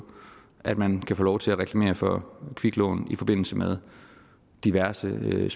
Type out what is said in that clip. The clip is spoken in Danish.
at man kan få lov til at reklamere for kviklån i forbindelse med diverse tv